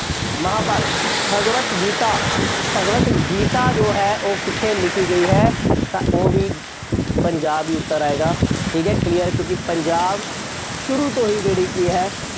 ਮਹਾਂਭਾਰਤ, ਭਗਵਤ ਗੀਤਾ, ਭਗਵਤ ਗੀਤਾ ਜੋ ਹੈ ਉਹ ਕਿੱਥੇ ਲਿਖੀ ਗਈ ਹੈ। ਤਾਂ ਉਹ ਵੀ ਪੰਜਾਬ ਹੀ ਉੱਤਰ ਆਏਗਾ। ਠੀਕ ਹੈ clear ਕਿਉਂਕਿ ਪੰਜਾਬ ਸ਼ੁਰੂ ਹੋ ਹੀ ਜਿਹੜੀ ਕਿ ਹੈ।